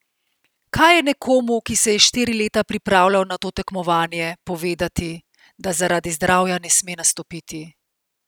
Kako je nekomu, ki se je štiri leta pripravljal na to tekmovanje, povedati, da zaradi zdravja ne sme nastopiti?